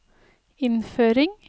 innføring